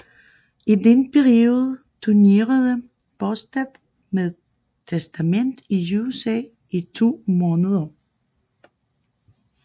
I denne periode turnerede Bostaph med Testament i USA i to måneder